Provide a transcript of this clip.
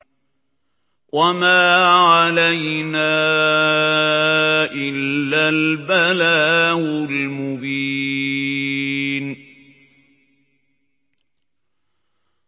وَمَا عَلَيْنَا إِلَّا الْبَلَاغُ الْمُبِينُ